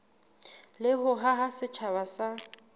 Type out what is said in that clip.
le ho haha setjhaba sa